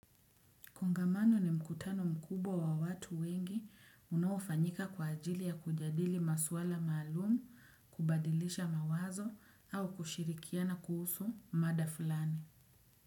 Kongamano ni mkutano mkubwa wa watu wengi unaofanyika kwa ajili ya kujadili maswala maalum, kubadilisha mawazo au kushirikiana kuhusu mada fulani.